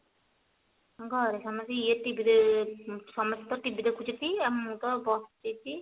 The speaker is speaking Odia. ଘରେ ସମସ୍ତେ ଇଏ TV ସମସ୍ତେ ତ TV ଦେଖୁଛନ୍ତି ଆଉ ମୁଁ ତ ବସିଛି